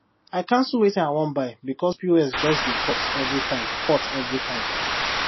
i cancel wetin i wan buy because pos just dey cut every time cut every time